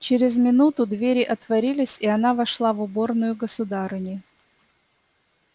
через минуту двери отворились и она вошла в уборную государыни